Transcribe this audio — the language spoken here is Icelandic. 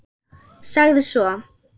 Sagði svo: